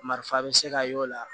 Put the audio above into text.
Marifan bɛ se ka y'o la